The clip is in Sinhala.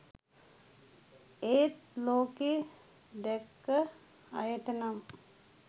ඒත් ලෝකෙ දැක්ක අයටනම්